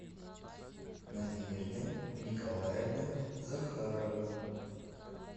надежда николаевна захарова